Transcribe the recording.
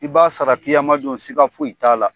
I b'a sara kiyamadon siga foyi t'a la